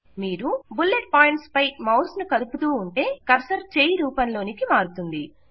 మీరు bullet points పై mouse ను కదుపుతూ ఉంటే కర్సర్ చేయి రూపంలోనికి మారుతుంది